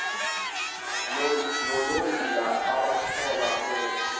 nonoyila obathola bethe